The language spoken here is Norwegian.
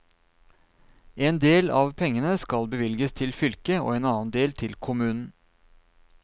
En del av pengene skal bevilges til fylket og en annen del til kommunen.